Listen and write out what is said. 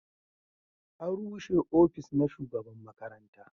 an rushe ofis na shugaban makaranta